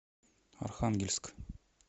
архангельск